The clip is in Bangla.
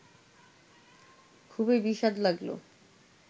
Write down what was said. খুবই বিস্বাদ লাগল